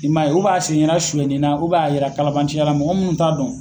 I man ye u b'a sen yera suyɛnni na u b'a yera kalabanciya la mɔgɔ munnu t'a dɔn.